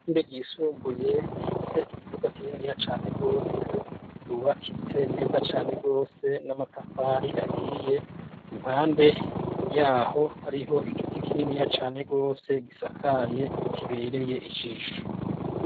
Ishure ryisumbuye rifise ikibuga kininiya cane gose ryubakitse neza cane gose n'amatafari ahiye. Impande yaho hariho igiti kininiya cane gose gisakaye kibereye ijisho.